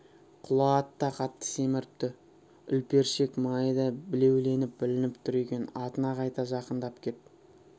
құла ат та қатты семіріпті үлпершек майы да білеуленіп білініп тұр екен атына қайта жақындап кеп